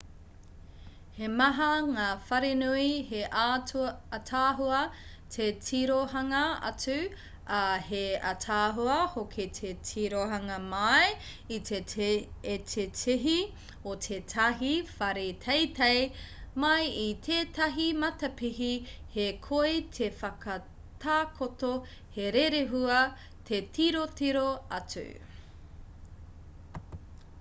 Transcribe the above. he maha ngā wharenui he ātaahua te tirohanga atu ā he ātaahua hoki te tirohanga mai i te tihi o tētahi whare teitei mai i tētahi matapihi he koi te whakatakoto he rerehua te tirotiro atu